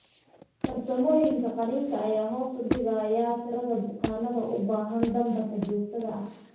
Farsamooyinka qalliinka ayaa hoos u dhigay tirada bukaannada u baahan dambarka joogtada ah.